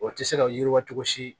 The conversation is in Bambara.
O tɛ se ka yiriwa cogo si